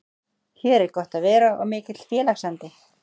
Hér er gott að vera og mikill félagsandi.